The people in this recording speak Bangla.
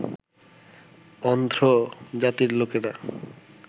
অন্ধ্র জাতির লোকেরা